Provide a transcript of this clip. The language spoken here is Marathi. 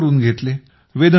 नाही करून घेतले